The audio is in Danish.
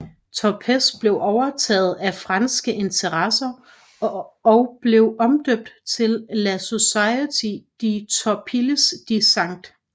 Tropez blev overtaget af franske interesser og blev omdøbt til La Société de Torpilles de St